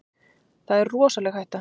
Það er rosaleg hætta.